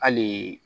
Hali